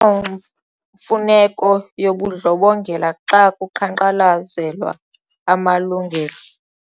kho mfuneko yobundlobongela xa kuqhankqalazelwa amalungelo.